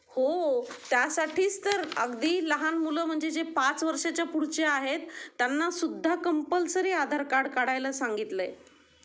हो त्या साठीच तर अगदी लहान मुलं म्हणजे जे ५ वर्षा च्या पुढचे आहेत त्यांना सुद्धा कंपलसरी आधार कार्ड काढायला सांगितलं आहे.